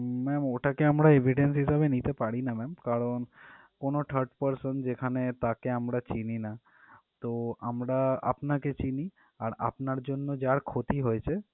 ma'am ওটাকে আমরা evidence হিসেবে নিতে পারি না ma'am কারণ কোনো third person যেখানে আমরা তাকে চিনি না তো আমরা আপনাকে চিনি আর আপনার জন্য যা ক্ষতি হয়েছে